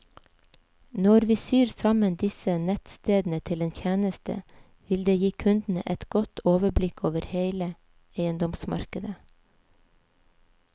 Når vi syr sammen disse nettstedene til en tjeneste, vil det gi kundene et godt overblikk over hele eiendomsmarkedet.